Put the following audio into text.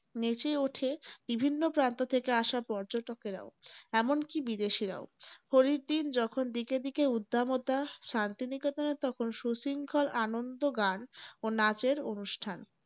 নেচে ওঠে বিভিন্ন প্রান্ত থেকে আসা পর্যটকেরাও। এমনকি বিদেশীরাও । পরের দিন যখন দিকে দিকে উদ্দামতা শান্তি নিকেতনে তখন সুশৃঙ্খল আনন্দ গান ও নাচের অনুষ্ঠান।